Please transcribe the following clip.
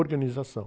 Organização.